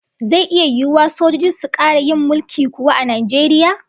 Zai iya yiwuwa sojoji su kara yin mulki kuwa a Najeriya?